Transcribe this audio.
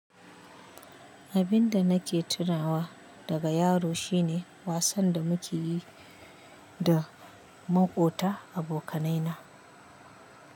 Abin da nake tunawa daga yaro shine wasan da muke yi da maƙota abokanai na.